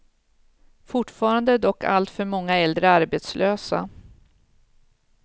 Fortfarande är dock alltför många äldre arbetslösa.